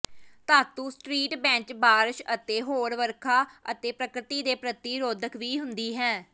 ਧਾਤੂ street bench ਬਾਰਸ਼ ਅਤੇ ਹੋਰ ਵਰਖਾ ਅਤੇ ਪ੍ਰਕਿਰਤੀ ਦੇ ਪ੍ਰਤੀ ਰੋਧਕ ਵੀ ਹੁੰਦੀ ਹੈ